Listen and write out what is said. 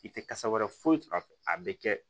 I tɛ kasa wɛrɛ foyi sɔrɔ a fɛ a bɛ kɛ